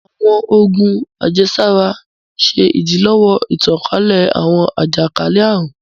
Awọn oògùn àjẹsára ń ṣe idilọwọ ìtànkálẹ̀ awọn àjakalẹ-àrun